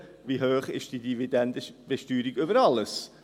«Wie hoch ist diese Dividendenbesteuerung über alles?».